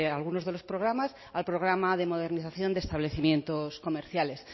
algunos de los programas al programa de modernización de establecimientos comerciales